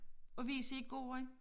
Og wc i gården